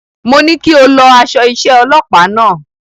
Mo ní kí o lọ aṣọ iṣẹ́ ọlọpàá náà.